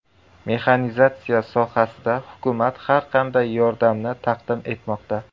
Mexanizatsiya sohasida hukumat har qanday yordamni taqdim etmoqda.